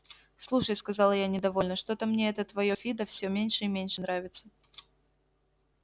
слушай сказала я недовольно что-то мне это твоё фидо всё меньше и меньше нравится